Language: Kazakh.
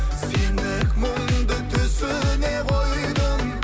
сендік мұңды түсіне қойдым